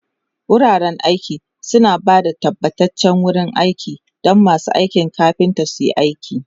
Wuraren aiki suna ba da tabbataccen wurin aiki don masu aikin kafinta su yi aiki.